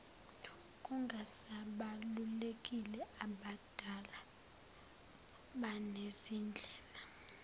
kungasabalulekile ababhali banezindlela